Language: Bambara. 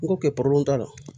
N ko kɛ t'a la